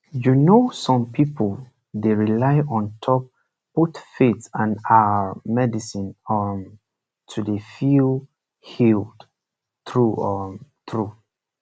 you know some pipu dey rely on top both faith and ah medicine um to dey feel healed true um true